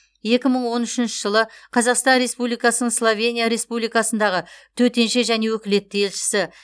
екі мың он үшінші жылы қазақстан республикасының словения республикасындағы төтенше және өкілетті елшісі